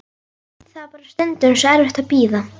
Það var bara stundum svo erfitt að bíða.